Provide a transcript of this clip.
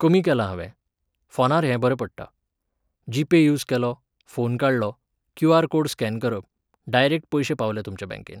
कमी केलां हांवें. फोनार हें बरें पडटा. जीपे यूज केलो, फोन काडलो, क्यूआर कोड स्कॅन करप, डायरेक्ट पयशे पावले तुमच्या बँकेंत